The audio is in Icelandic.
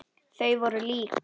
Þau voru lík.